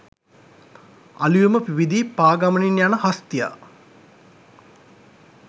අලූයම පිබිදී පා ගමනින් යන හස්තියා